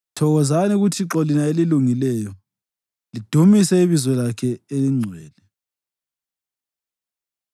Thokozani kuThixo lina elilungileyo, lidumise ibizo lakhe elingcwele.